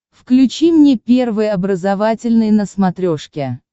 включи мне первый образовательный на смотрешке